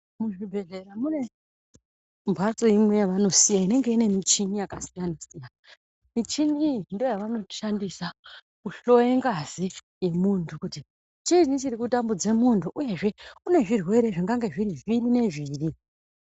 Muzvibhedhlera mune mbatso imwe yavanosiya inenge ine michini yakasiyana siyana. Michini iyi ndovanoshandisa kuhloye ngazi yemuntu kuti chinyi chiri kutambudze muntu uyezve une zvirwere zvingange zviri zviri nezviri.